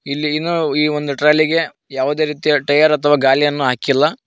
ಇಲ್ಲಿ ಇನ ಇ ಒಂದು ಟ್ರಾಲಿಗೆ ಯಾವದೇ ರೀತಿಯ ಟಯರ್ ಅಥವಾ ಗಾಲಿಯನ್ನ ಹಾಕಿಲ್ಲ.